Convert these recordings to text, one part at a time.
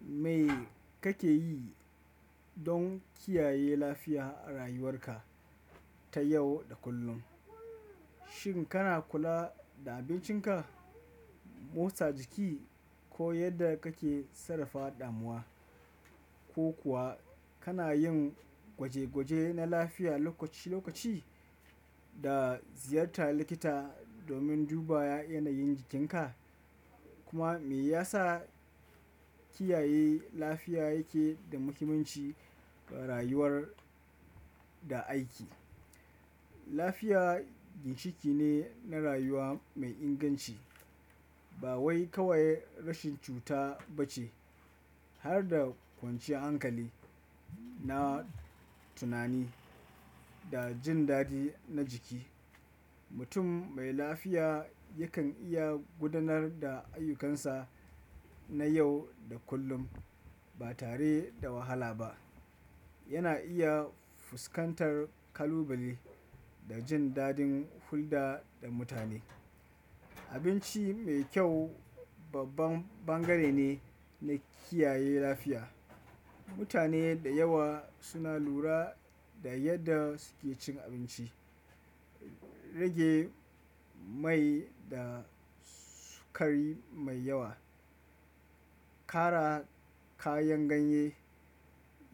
Me kake yi don kiyaye lafiya a rayuwarka ta yau da kullum? Shin kana kula da abincinka, motsa jiki ko yadda kake sarrafa damuwa? Ko kuwa kana yin gwaje-gwaje na lafiya lokaci-lokaci da ziyartar likita domin duba yanayin jikinka? Kuma me ya sa kiyaye lafiya yake da muhimmanci ga rayuwar da aiki? Lafiya ginshiƙi ne na rayuwa mai inganci, ba wai kawai rashin cuta ba ce. Har da kwanciyar hankali na tunani da jin daɗi na jiki. Mutum mai lafiya yakan iya gudanar da ayyukansa na yau da kullum ba tare da wahala ba. Yana iya fuskantar kalubale da jin daɗin hulɗa da mutane. Abinci mai kyau babban bangare ne na kiyaye lafiya. Mutane da yawa suna lura da yadda suke cin abinci, rage mai da sukari mai yawa, ƙara kayan ganye,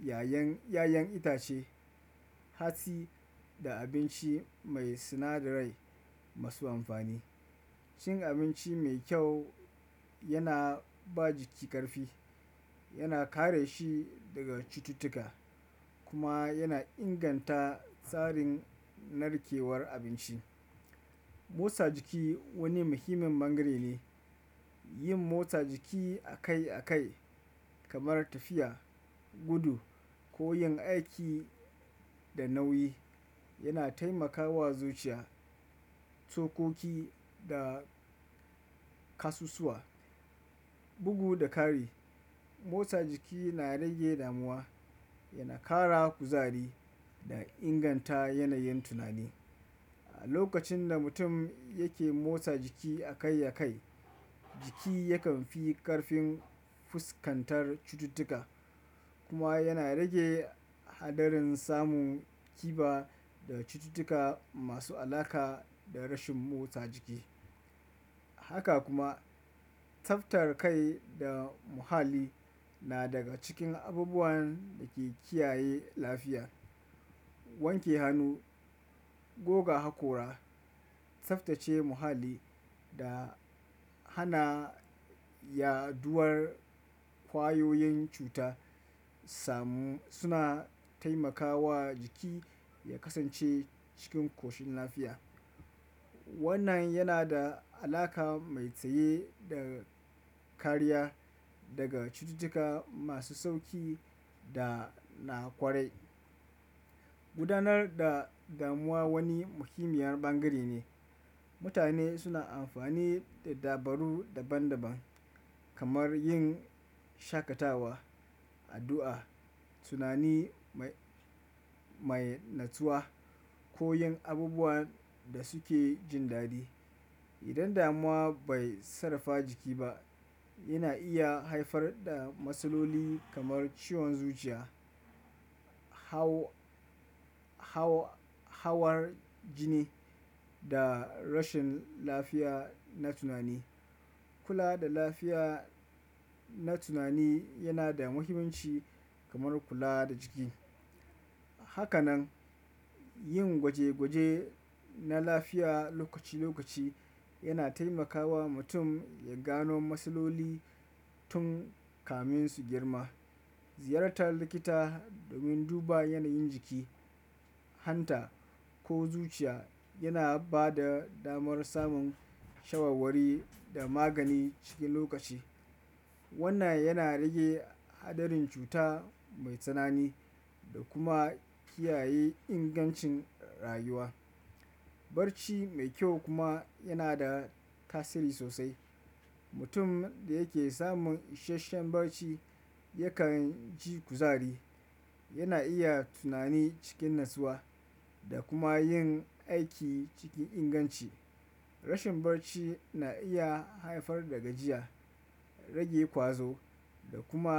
yayan, yayan itace, hatsi da abinci mai sinadarai masu amfani. Cin abinci mai kyau yana ba jiki ƙarfi, yana kare shi daga cututtuka kuma yana inganta tsarin narkewar abinci. Motsa jiki wani muhimmin bangare ne. Yin motsa jiki akai-akai kamar tafiya, gudu ko yin aiki da nauyi yana taimakawa zuciya, sokoki da ƙasusuwa, bugu da ƙari. Motsa jiki na rage damuwa, yana ƙara kuzari da inganta yanayin tunani. A lokacin da mutum yake motsa jiki akai-akai, jiki yakan fi ƙarfin fuskantar cututtuka kuma yana rage haɗarin samun kiba da cututtuka masu alaƙa da rashin motsa jiki. Haka kuma, tsaftar kai da muhalli na daga cikin abubuwan da ke kiyaye lafiya. Wanke hannu, goga hakora, tsaftace muhalli da hana yaɗuwar ƙwayoyin cuta samu suna taimakawa jiki ya kasance cikin koshin lafiya. Wannan yana da alaƙa mai tsaye da kariya daga cututtuka masu sauƙi da na ƙwarai. Gudanar da damuwa wani muhimmiyar bangare ne. Mutane suna amfani da dabaru daban-daban kamar yin shaƙatawa, addu'a, tunani mai, mai natsuwa ko yin abubuwan da suke jin daɗi. Idan damuwa bai sarrafa jiki ba, yana iya haifar da matsaloli kamar ciwon zuciya, hau, hau, hawar jini da rashin lafiya na tunani. Kula da lafiya na tunani yana da muhimmanci kamar kula da jiki. Haka nan, yin gwaje-gwaje na lafiya lokaci-lokaci yana taimakawa mutum ya gano matsaloli tun kamin su girma. Ziyartar likita domin duba yanayin jiki, hanta ko zuciya yana ba da damar samun shawarwari da magani cikin lokaci. Wannan yana rage haɗarin cuta mai tsanani da kuma kiyaye ingancin rayuwa. Barci mai kyau kuma yana da tasiri sosai. Mutum da yake samun isasshen barci yakan ji kuzari, yana iya tunani cikin natsuwa da kuma yin aiki cikin inganci. Rashin barci na iya haifar da gajiya, rage ƙwazo da kuma.